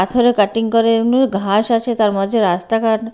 তাছাড়া কাটিং করে এমনি ঘাস আছে তার মাঝে রাস্তা ঘাট--